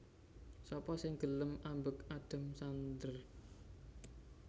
Sapa sing gelem ambek Adam Sandler